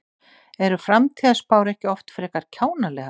Eru framtíðarspár ekki oft frekar kjánalegar?